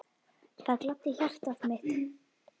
Það gladdi hjartað mitt.